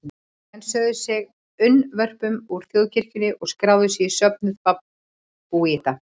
Menn sögðu sig unnvörpum úr þjóðkirkjunni og skráðu sig í söfnuð babúíta.